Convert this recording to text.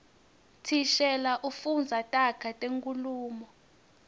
thishela ufundza taga tenkhulumo